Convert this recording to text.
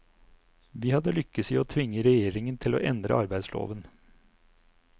Vi hadde lykkes i å tvinge regjeringen til å endre arbeidsloven.